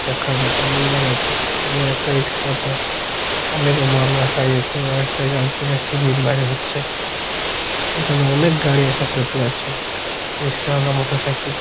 দেখার মতো লাগাইছে এই একটা রিকশা তে অনেক মাল রাখা রয়েছে একটা গাড়ি থেকে একজায়গায় সিমেন্ট বোঝাই হচ্ছে এখানে অনেক গাড়ি আছে টোটো আছে রিকশা ওয়ালা মোটর সাইকেল --